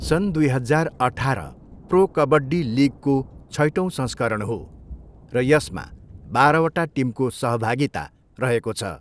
सन् दुई हजार अठाह्र प्रो कबड्डी लिगको छैटौँ संस्करण हो र यसमा बाह्र वटा टिमको सहभागिता रहेको छ।